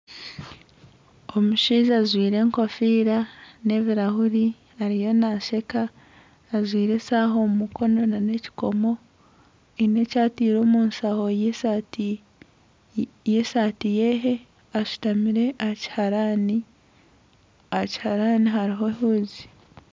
Omushaija ajwaire ekofiira n'ebirahuuri ariyo nasheeka ajwaire eshaaha omu mukono na n'ekikomo haine eki ataire omushaho y'esaati ye ashutamire aha kihaarani, aha kihaarani hariho ehuuzi.